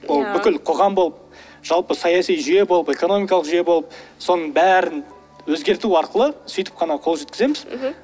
иә ол бүкіл қоғам болып жалпы саяси жүйе болып экономикалық жүйе болып соның бәрін өзгерту арқылы сөйтіп қана қол жеткіземіз мхм